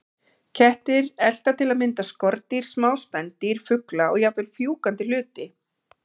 Kettir elta til að mynda skordýr, smá spendýr, fugla og jafnvel fjúkandi hluti.